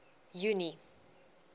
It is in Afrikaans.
junie